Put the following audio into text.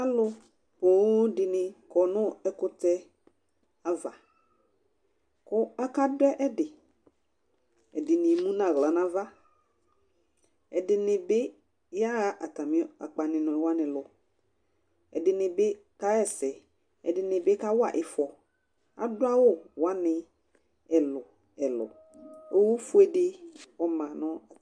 alo ponŋ dini kɔ no ɛkutɛ ava kò aka do ɛdi ɛdini emu n'ala n'ava ɛdini bi yaɣa atani akpani wani lo ɛdini bi ka ɣa ɛsɛ ɛdini bi ka wa ifɔ ado awu wani ɛlu ɛlu owu fue di ɔma no